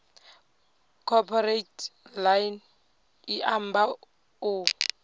cooperate ḽine ḽa amba u